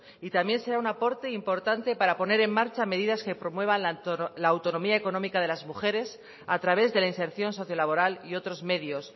y también será un aporte importante para poner en marcha medidas que promuevan la autonomía económica de las mujeres a través de la inserción socio laboral y otros medios